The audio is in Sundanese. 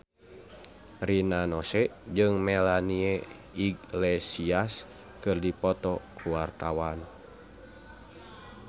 Rina Nose jeung Melanie Iglesias keur dipoto ku wartawan